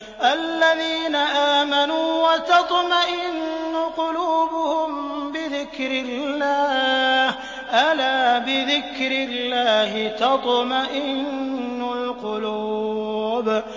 الَّذِينَ آمَنُوا وَتَطْمَئِنُّ قُلُوبُهُم بِذِكْرِ اللَّهِ ۗ أَلَا بِذِكْرِ اللَّهِ تَطْمَئِنُّ الْقُلُوبُ